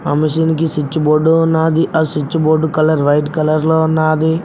ఆ మెషిన్ కి switchboard ఉన్నాది ఆ స్విచ్ బోర్డు కలర్ వైట్ కలర్లో ఉన్నాది.